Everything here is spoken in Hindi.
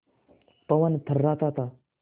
पवन थर्राता था